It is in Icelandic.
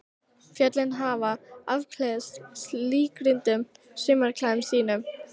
Fjöllin hafa afklæðst litríkum sumarklæðum sínum.